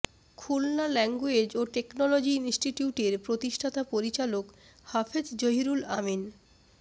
Khulna language ও technology ইন্সটিটিউটের প্রতিষ্ঠাতা পরিচালক হাফেজ জহিরুল আমিন